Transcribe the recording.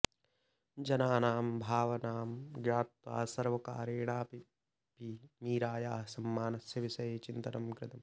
जनानां भावनां ज्ञात्वा सर्वकारेणापि मीरायाः सम्मानस्य विषये चिन्तनं कृतम्